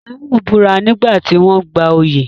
Taiwo búra nígbà tí wọ́n ń gba oyè.